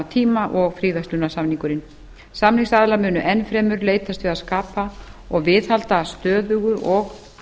tíma og fríverslunarsamningurinn samningsaðilar munu enn fremur leitast við að skapa og viðhalda stöðugu og